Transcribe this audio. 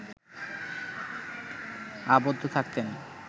আবদ্ধ থাকতেন